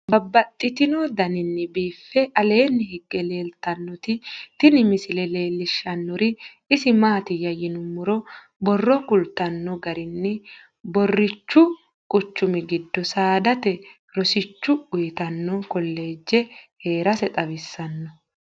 Babaxxittinno daninni biiffe aleenni hige leelittannotti tinni misile lelishshanori isi maattiya yinummoro borro kulittanno garinni borichu quchummi giddo saadate rosicho uuyittanno kolege heerase xawissanno